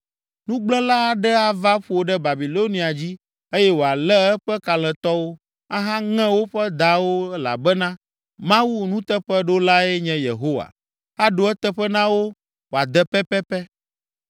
Nugblẽla aɖe ava ƒo ɖe Babilonia dzi eye wòalé eƒe kalẽtɔwo, ahaŋe woƒe dawo elabena Mawu, nuteƒeɖolae nye Yehowa, aɖo eteƒe na wo wòade pɛpɛpɛ.